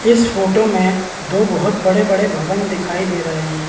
इस फोटो में दो बड़े-बड़े भवन दिखाई दे रहें हैं।